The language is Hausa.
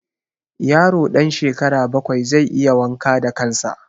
Yaro ɗan shekara bakwai zai iya wanka da kan sa